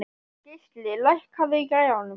Geisli, lækkaðu í græjunum.